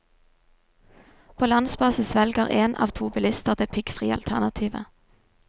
På landsbasis velger én av to bilister det piggfrie alternativet.